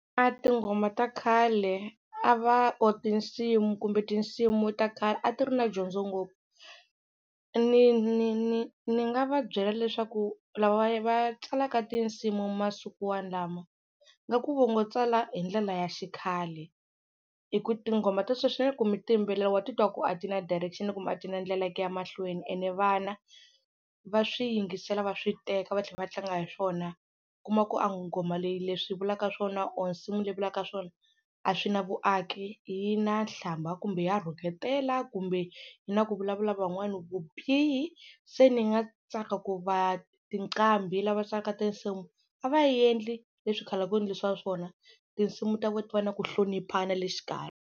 Tinghoma ta khale a va or tinsimu kumbe tinsimu ta khale a ti ri na dyondzo ngopfu ni ni ni ni nga va byela leswaku lava va tsalaka tinsimu masiku walamo ngaku va ngo tsala hi ndlela ya xikhale hi ku tinghoma ta sweswi na loko mi ti yimbelela wa titwa ku a ti na direction kumbe a ti na ndlela ya ku ya mahlweni ene vana va swi yingisela va swi teka va tlhela va tlanga hi swona, u kuma ku a nghoma leyi leswi yi vulaka swona or nsimu leyi vulaka swona a swi na vuaki yi na nhlamba kumbe ya rhuketela kumbe yi na ku vulavula van'wana vubihi, se ni nga tsaka ku va tinqambi lava tsalaka tinsimu a va yendli leswi khale a ku endlisiwa swona, tinsimu ta von ti va na ku hloniphana le xikarhi.